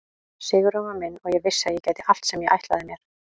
Sigurinn var minn og ég vissi að ég gæti allt sem ég ætlaði mér.